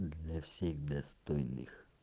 для всех достойных